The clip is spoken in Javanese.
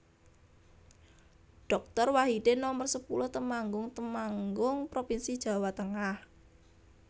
Doktor Wahidin Nomer sepuluh Temanggung Temanggung provinsi Jawa Tengah